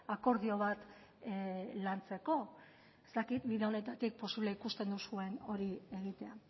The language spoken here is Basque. akordio bat lantzeko ez dakit ildo honetatik posible ikusten duzuen hori egitea